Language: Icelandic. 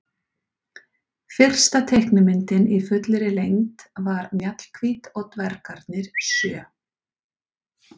Fyrsta teiknimyndin í fullri lengd var Mjallhvít og dvergarnir sjö.